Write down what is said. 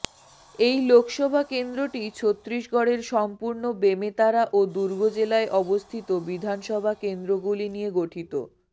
এই লোকসভা কেন্দ্রটি ছত্তিশগড়ের সম্পূর্ণ বেমেতারা ও দুর্গ জেলায় অবস্থিত বিধানসভা কেন্দ্রগুলি নিয়ে গঠিত